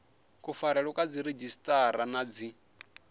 kufarelwe kwa dziredzhisiṱara na dzi